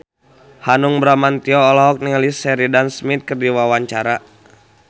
Hanung Bramantyo olohok ningali Sheridan Smith keur diwawancara